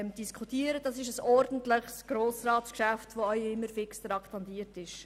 Dies ist ein ordentliches Grossratsgeschäft, das jeweils auch fix traktandiert ist.